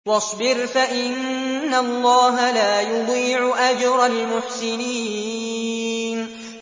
وَاصْبِرْ فَإِنَّ اللَّهَ لَا يُضِيعُ أَجْرَ الْمُحْسِنِينَ